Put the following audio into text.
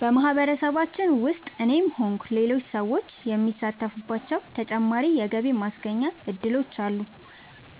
በማህበረሰባችን ውስጥ እኔም ሆንኩ ሌሎች ሰዎች የሚሳተፉባቸው ተጨማሪ የገቢ ማስገኛ እድሎች አሉ።